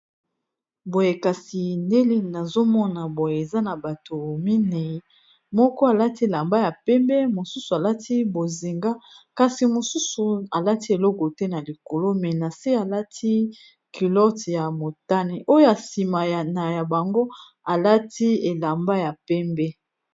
Boye kasi ndenge nazomona boye eza na batu mini moko alati elamba ya pembe mosusu alati bozinga kasi mosusu alati eloko te na likolo mais nase alati culotte ya motane oyo sima ya bango alati elamba ya pembe.